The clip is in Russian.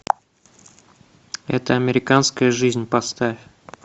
эта американская жизнь поставь